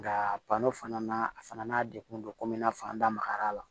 Nka fana na a fana n'a degun don komi i n'a fɔ an da magara la